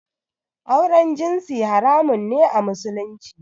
Auren jinsi haramun ne a Musulunci